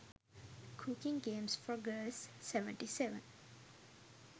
cooking games for girls 77